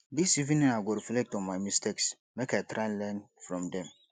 dis evening i go reflect on my mistakes make i try learn from dem